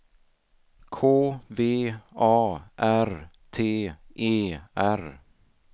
K V A R T E R